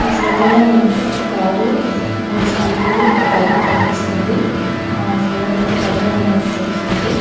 ఈ ఫోటోలో మనకి ఒక కారు మూడు స్కూటీలు ఒక బైకు కనిపిస్తుంది ఆహ్ ఫ్లోర్ అంతా తడిగా ఉన్నట్టు తెలుస్తుంది.